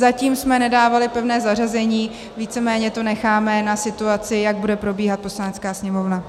Zatím jsme nedávali pevné zařazení, víceméně to necháme na situaci, jak bude probíhat Poslanecká sněmovna.